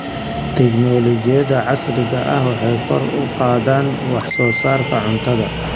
Tignoolajiyada casriga ahi waxay kor u qaadaan wax soo saarka cuntada.